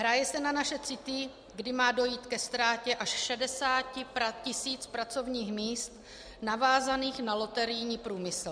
Hraje se na naše city, kdy má dojít ke ztrátě až 60 tisíc pracovních míst navázaných na loterijní průmysl.